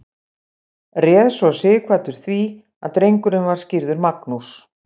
réð svo sighvatur því að drengurinn var skírður magnús